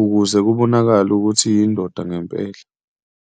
ukuze kubonakale ukuthi iyindoda ngempela.